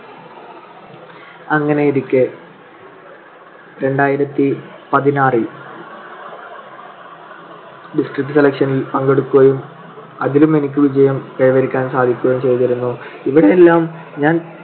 അങ്ങനെയിരിക്കെ രണ്ടായിരത്തി പതിനാറിൽ district selection ൽ പങ്കെടുക്കുകയും അതിലും എനിക്ക് വിജയം കൈവരിക്കാൻ സാധിക്കുകയും ചെയ്‌തിരുന്നു. ഇവിടെയെല്ലാം ഞാൻ